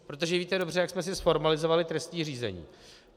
Protože víte dobře, jak jsme si zformalizovali trestní řízení.